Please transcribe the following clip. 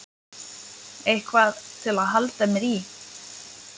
Eitthvað til að halda mér í.